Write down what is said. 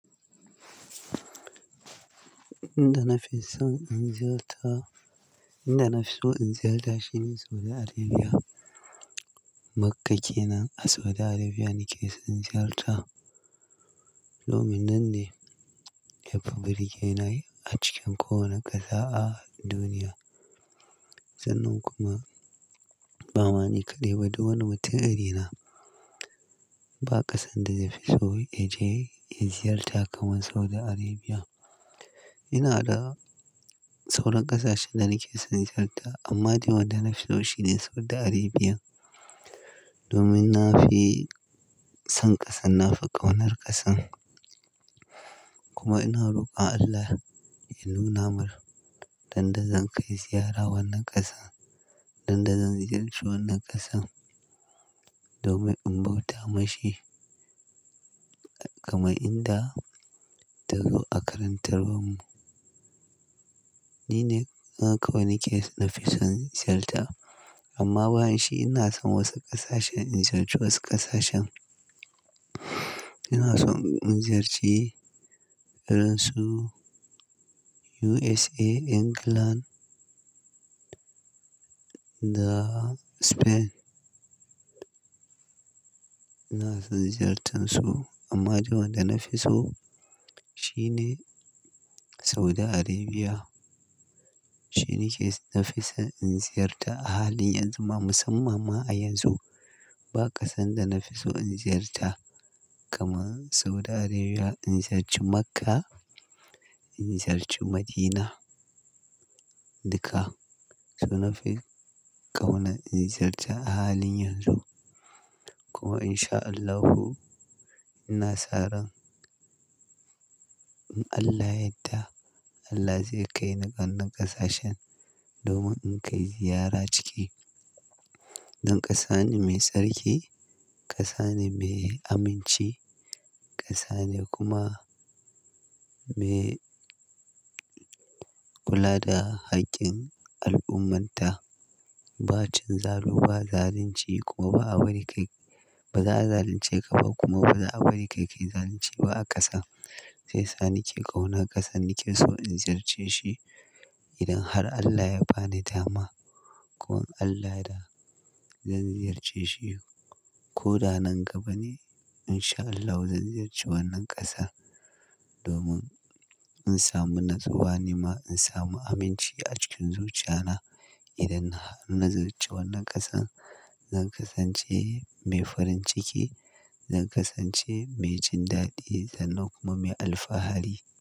Inda na fi so in ziyarta, inda na fi so in ziyarta shine Saudi Arabia. Makka ke nan a Saudi Arabia nake son ziyarta. Domin nan ne yafi birge ni a cikin kowane ƙasa a duniya. Sannan kuma ba mani kaɗai ba, duk wani mutum irina ba ƙasan da ya fi so ya je ya ziyarta kamar Saudi Arabia. Ina da sauran ƙasashen da nake son ziyarta amma dai wanda na fi so shine Saudi Arabia. Domin na fi son ƙasan, na fi ƙaunar ƙasan. Kuma ina rokon Allah ya nuna min ran da zan kai ziyara wannan ƙasa, don da zan ziyarci wannan ƙasan domin in bauta ma shi kamar inda ta zo a karantarwa mu. Ni ne kawai nake son ziyarta amma bani shi ina son wasu ƙasashen, in ziyarci wasu ƙasashen. Ina son in ziyarci iransu USA, England da Spain. Ina son ziyartar su amma dai wan da na fi so shine Saudi Arabia. Shi ne ke na fi so in ziyarta a halin yanzu ma musamman ma a yanzu ba ƙasan da na fi so in ziyarta kamar Saudi Arabia, in ziyarci Makka, in ziyarci Madina, duka su na fi ƙauna in ziyarta a halin yanzu kuma in sha Allahu ina saran, in Allah yadda Allah zai kai ni wannan ƙasashen domin in kai ziyara ciki. Don ƙasa ne mai tsarki, ƙasa ne mai aminci, ƙasa ne kuma mai kula da haƙƙin al'ummanta. Ba cin zalu, ba zalunci kuma ba abari ba za a zalunce ka kuma ba za a bari kai zalunci ba a ƙasa. Sai sa nake ƙauna ƙasan nake so in ziyarce shi idan har Allah ya bani dama. Ko an Allah da zan ziyarce shi ko da nan gaba ne in sha Allahu zan ziyarci wannan ƙasa domin in samu natsuwa nima, in samu aminci a cikin zuciya na idan na ziyarci wannan ƙasan. Zan kasance mai farin ciki, zan kasance mai jin daɗi sannan kuma mai alfahari.